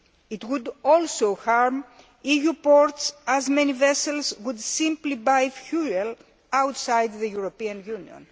It would also harm EU ports, as many vessels would simply buy fuel outside the European Union.